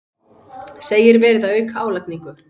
Segir verið að auka álagningu